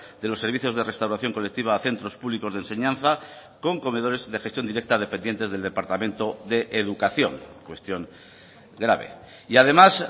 de los servicios de restauración colectiva a centros públicos de enseñanza con comedores de gestión directa dependientes del departamento de educación cuestión grave y además